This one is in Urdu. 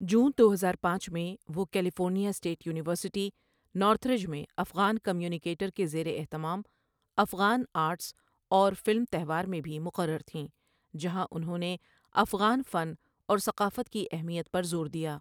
جون دو ہزار پانچ ںمیں، وہ کیلیفورنیا اسٹیٹ یونیورسٹی، نارتھریج میں افغان کمیونیکیٹر کے زیر اہتمام افغان آرٹس اور فلم تہوار میں بھی مقرر تھیں جہاں انہوں نے افغان فن اور ثقافت کی اہمیت پر زور دیا.